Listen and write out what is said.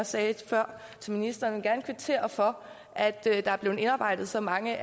sagde før til ministeren gerne kvittere for at der er blevet indarbejdet så mange